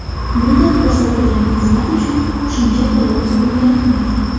Bunda ko‘rsatilgan xizmat uchun qo‘shimcha to‘lov undirilmaydi.